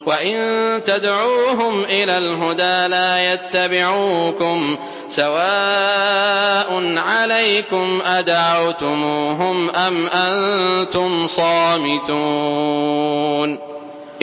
وَإِن تَدْعُوهُمْ إِلَى الْهُدَىٰ لَا يَتَّبِعُوكُمْ ۚ سَوَاءٌ عَلَيْكُمْ أَدَعَوْتُمُوهُمْ أَمْ أَنتُمْ صَامِتُونَ